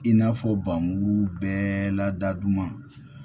I n'a fɔ ba mugu bɛɛ lada duguma